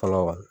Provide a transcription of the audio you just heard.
Fɔlɔ kan